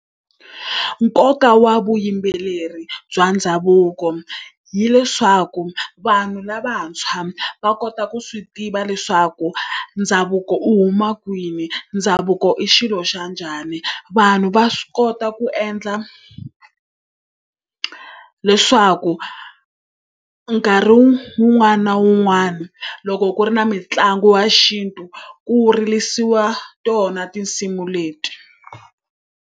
Nkoka wa vuyimbeleri bya ndhavuko hileswaku vanhu lavantshwa va kota ku swi tiva leswaku ndhavuko u huma kwini, ndhavuko i xilo xa njhani. Vanhu va swi kota ku endla leswaku nkarhi wun'wani na wun'wani loko ku ri na mitlangu ya xintu ku ririsiwa tona tinsimu leti.